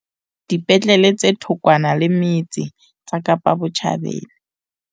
Dipetlele tse thokwana le metse tsa Kapa Botjhabela